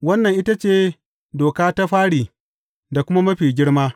Wannan, ita ce doka ta fari da kuma mafi girma.